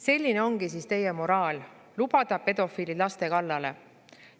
Selline siis ongi teie moraal: lubada pedofiilid laste kallale.